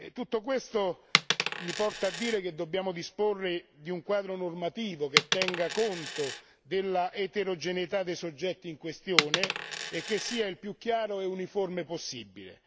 Tutto questo mi porta a dire che dobbiamo disporre di un quadro normativo che tenga conto dell'eterogeneità dei soggetti in questione e che sia il più chiaro e uniforme possibile.